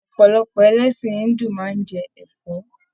Ọpọlọpọ ẹlẹsin Hindu máa n jẹ ẹfọ.